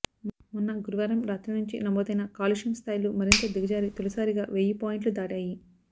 మొన్న గురువారం రాత్రి నుంచి నమోదైన కాలుష్యం స్థాయిలు మరింత దిగజారి తొలిసారిగా వెయ్యి పాయింట్లు దాటాయి